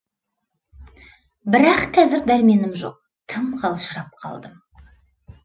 бірақ қазір дәрменім жоқ тым қалжырап қалдым